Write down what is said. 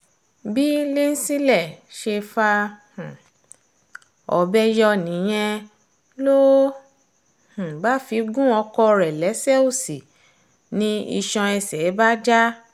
bí línsílẹ̀ ṣe fa um ọbẹ̀ yọ nìyẹn ló um bá fi gun ọkọ rẹ̀ lẹ́sẹ̀ òsì ni iṣan ẹsẹ̀ bá já